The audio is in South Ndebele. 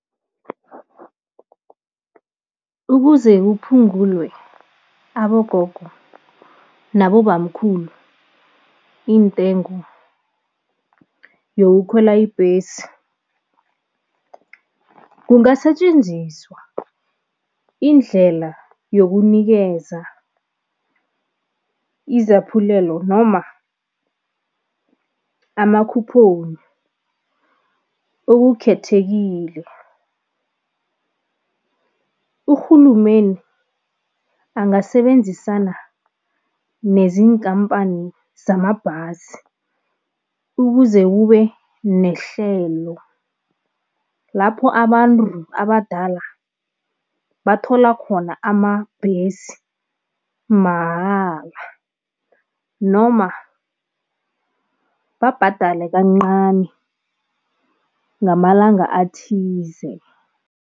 Ukuze kuphungulwe abogogo nabobamkhulu intengo yokukhwela ibhesi, kungasitjenziswa indlela yokunikeza izaphulelo noma ama-coupon okukhethekile. Uhulumeni angasebenzisana nezinkampani zamabhasi ukuze kube nehlelo lapho abantu abadala bathola khona amabhesi mahala noma babhadale kancani ngamalanga athize.